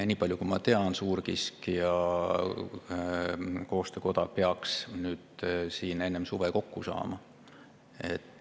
Nii palju, kui ma tean, suurkiskjate koostöö peaks enne suve kokku saama.